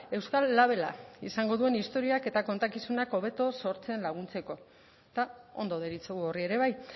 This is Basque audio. euskal labela izango duen istorioak eta kontakizunak hobeto sortzen laguntzeko eta ondo deritzogu horri ere bai